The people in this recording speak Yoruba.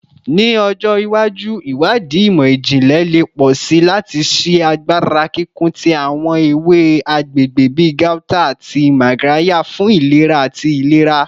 Ni ọjọ iwaju, iwadii imọ-jinlẹ le pọ si lati ṣii agbara kikun ti awọn ewe agbegbe bi gauta ati magarya fun ilera ati ilera